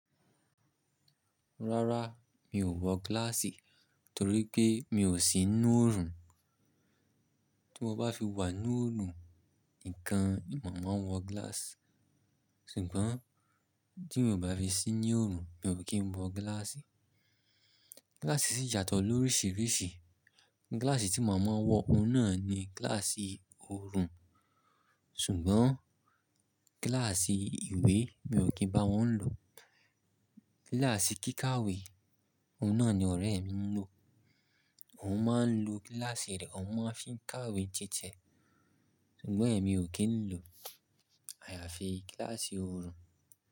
Rárá mi ò wọ gíláàsì torí pé mi ò sí inú òrùn. Tí mo bá fi wà nínú òorùn nìkan, mo máa wọ gíláàsì. Ṣùgbọ́n tí mo ò bá fi sí inú òorùn, mi ò kí n wọ gíláàsì. Gíláàsì sì yáto lóríṣìíríṣìí. Gíláàsì tí màá máa wọ, òun náà ni gíláàsì òrùn. Ṣùgbọ́n gíláàsì ìwé mi ò kí n bá wọn lò. Gíláàsì kíkàwé, òun náà ni ọ̀rẹ́ mi ń lò. Òun máa ń lo gíláàsì rẹ̀, òun máa ń fi ń kàwé tí tiẹ. Ṣùgbọ́n èmi ò kí n lò. Àyàfi gíláàsì òrùn.